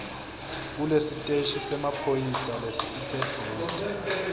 kulesiteshi semaphoyisa lesisedvute